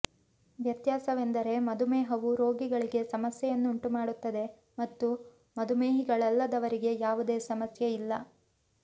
ವ್ಯತ್ಯಾಸವೆಂದರೆ ಮಧುಮೇಹವು ರೋಗಿಗಳಿಗೆ ಸಮಸ್ಯೆಯನ್ನುಂಟು ಮಾಡುತ್ತದೆ ಮತ್ತು ಮಧುಮೇಹಿಗಳಲ್ಲದವರಿಗೆ ಯಾವುದೇ ಸಮಸ್ಯೆಯಿಲ್ಲ